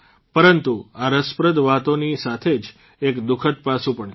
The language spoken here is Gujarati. પરંતુ આ રસપ્રદ વાતોની સાથે જ એક દુઃખદ પાસું પણ છે